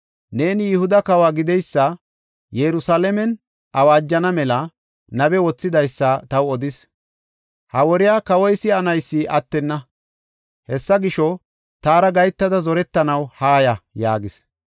neeni Yihuda kawo gideysa Yerusalaamen awaajana mela nabe wothidaysa taw odis. Ha woriya kawoy si7anaysi attenna. Hessa gisho, taara gahetada zorettanaw haaya” yaagees.